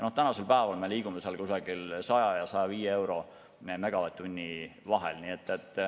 Tänasel päeval me liigume vahemikus 100–105 eurot megavatt-tund.